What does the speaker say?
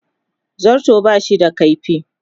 Zarto ba shi da kaifi.